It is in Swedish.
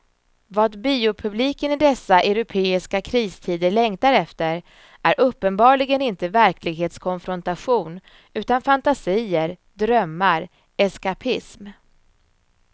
Vad biopubliken i dessa europeiska kristider längtar efter är uppenbarligen inte verklighetskonfrontation utan fantasier, drömmar, eskapism.